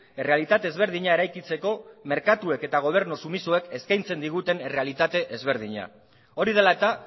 errealitate ezberdina eraikitzeko merkatuek eta gobernu sumisoek eskaintzen diguten errealitate ezberdina hori dela eta